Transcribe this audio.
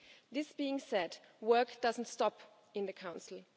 This being said, work doesn't stop in the Council.